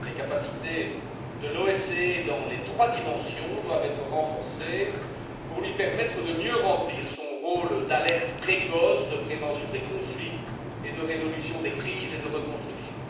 Les capacités de l'OSCE dans les trois dimensions doivent être renforcées pour lui permettre de mieux remplir son rôle d'alerte précoce, de prévention des conflits et de résolution des crises et de reconstruction.